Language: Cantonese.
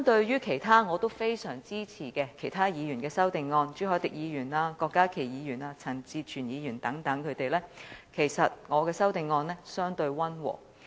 與我非常支持的其他議員如朱凱廸議員、郭家麒議員和陳志全議員等提出的修正案相比，其實我的修正案相對溫和。